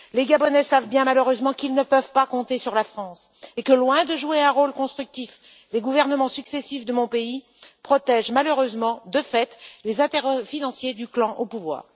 9. Les Gabonais savent bien malheureusement qu'ils ne peuvent pas compter sur la France et que, loin de jouer un rôle constructif, les gouvernements successifs de mon pays protègent malheureusement, de fait, les intérêts financiers du clan au pouvoir.